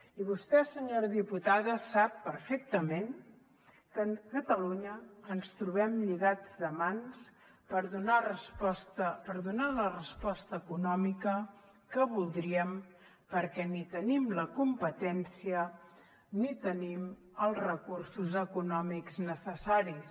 i vostè senyora diputada sap perfectament que a catalunya ens trobem lligats de mans per donar la resposta econòmica que voldríem perquè ni tenim la competència ni tenim els recursos econòmics necessaris